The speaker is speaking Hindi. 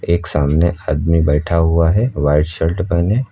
एक सामने आदमी बैठा हुआ है व्हाइट शर्ट पहने।